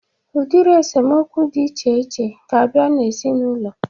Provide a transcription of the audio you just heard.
Udiri esemokwu dị iche iche ga-abịa n'ezinaụlọ a